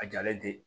A jalen tɛ